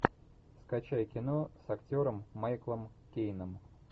скачай кино с актером майклом кейном